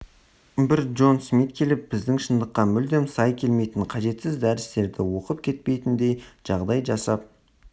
бір джон смит келіп біздің шындыққа мүлдем сай келмейтін қажетсіз дәрістерді оқып кетпейтіндей жағдай жасап